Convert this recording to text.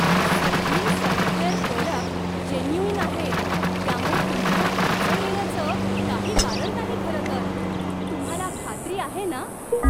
सगळी software product genuine आहेत, त्यामुळे तुम्हाला अडचण येण्याचं काही कारण नाही खरंतर. तुम्हाला खात्री आहे ना?